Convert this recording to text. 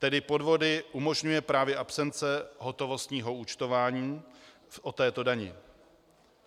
Tedy podvody umožňuje právě absence hotovostního účtování o této dani.